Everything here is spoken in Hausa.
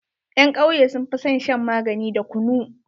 Ƴan kauye sun fi son shan magani da kunu.